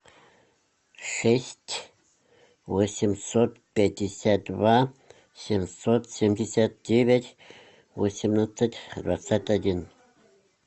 шесть восемьсот пятьдесят два семьсот семьдесят девять восемнадцать двадцать один